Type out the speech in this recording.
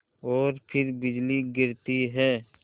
और फिर बिजली गिरती है